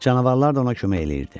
Canavarlar da ona kömək edirdi.